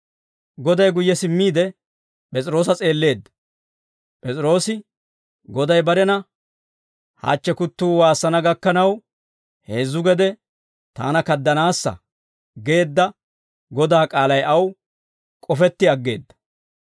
Goday guyye simmiide, P'es'iroosa s'eelleedda. P'es'iroosi Goday barena, «Hachche kuttuu waassana gakkanaw, heezzu gede taana kaddanaassa» geedda Godaa k'aalay aw k'ofetti aggeedda.